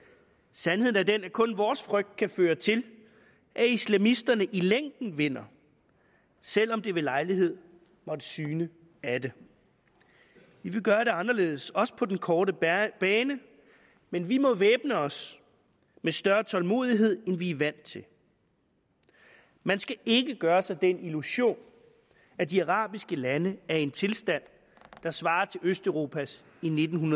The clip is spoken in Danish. sandheden er den at kun vores frygt kan føre til at islamisterne i længden vinder selv om det ved lejlighed måtte syne af det vi vil gøre det anderledes også på den korte bane men vi må væbne os med større tålmodighed end vi er vant til man skal ikke gøre sig den illusion at de arabiske lande er i en tilstand der svarer til østeuropas i nitten